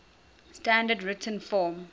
standard written form